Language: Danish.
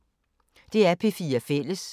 DR P4 Fælles